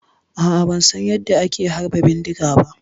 A'a ban San yanda ake harba bindiga ba.